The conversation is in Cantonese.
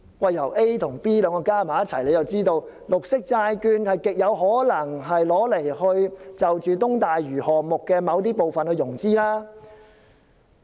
把 A 和 B 結合起來，便知道政府極有可能以綠色債券為東大嶼項目的某些部分融資。